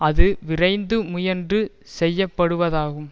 அது விரைந்து முயன்று செய்யப்படுவதாகும்